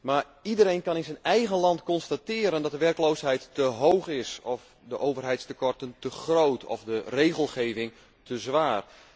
Maar iedereen kan in zijn eigen land constateren dat de werkeloosheid te hoog is of de overheidstekorten te groot of de regelgeving te zwaar.